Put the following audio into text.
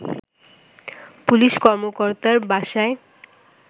police কর্মকর্তার বাসায়